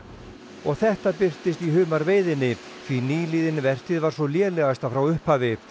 og þetta birtist í humarveiðinni því nýliðin vertíð var sú lélegasta frá upphafi